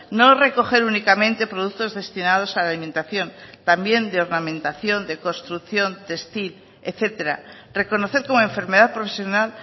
no recoger únicamente productos destinados a la alimentación también de ornamentación de construcción textil etcétera reconocer como enfermedad profesional